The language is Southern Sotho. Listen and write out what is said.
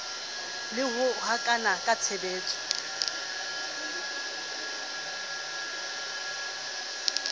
le ho hokahana ka tshebetso